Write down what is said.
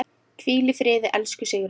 Hvíl í friði, elsku Sigrún.